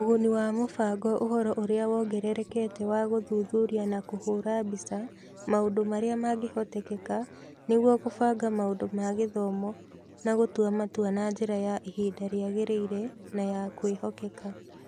Ũguni wa mũbango ũhoro ũria wongererekete wa gũthuthuria na kũhũũra mbica maũndũ marĩa mangĩhoteka nĩguo kũbanga maũndũ ma gĩthomo na gũtua matua na njĩra ya ihinda rĩagĩrĩire na ya kwĩhokeka.